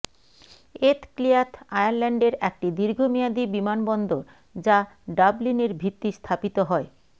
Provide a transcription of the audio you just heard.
এথ Cliath আয়ারল্যান্ডের একটি দীর্ঘমেয়াদী বিমানবন্দর যা ডাবলিনের ভিত্তি স্থাপিত হয়